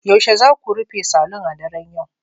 Yaushe za ku rufe saloon a daren yau